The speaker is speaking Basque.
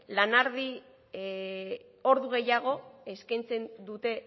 lanaldi ordu gehiago eskaintzen dute